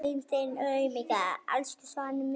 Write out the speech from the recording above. Elsku Svana mín.